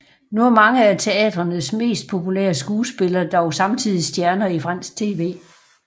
Nu er mange af teatrenes mest populære skuespillere dog samtidig stjerner i fransk tv